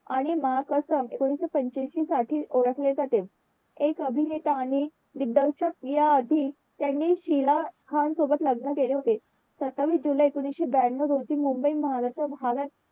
आणि महाकसब एकोणविशे पैंच्यांशीसाठी ओळखले जाते एक अभिनेता आणि दिग्दर्शक या अटी त्यांनी शीला खान सोबत लग्न केले होते सत्तावीस जुलै एकोणविशे ब्यांनव रोजी मुंबई महाराष्ट्र भागात